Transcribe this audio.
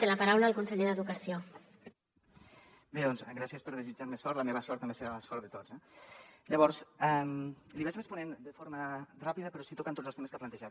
bé doncs gràcies per desitjar me sort la meva sort també serà la sort de tots eh llavors li vaig responent de forma ràpida però sí tocant tots els temes que ha plantejat